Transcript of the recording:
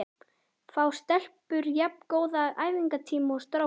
Fá stelpur jafn góða æfingatíma og strákar?